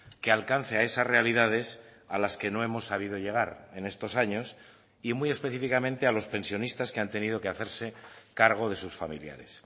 que alcance a esas realidades a las que no hemos sabido llegar en estos años y muy específicamente a los pensionistas que han tenido que hacerse cargo de sus familiares